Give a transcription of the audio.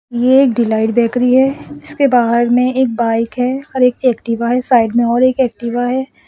ये delight bakery है इसके बाहर में एक बाइक है और एक एक्टिवा है साइड में और एक एक्टिवा है।